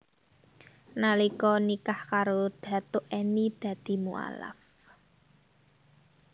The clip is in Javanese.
Nalika nikah karo Datuk Enny dadi mualaf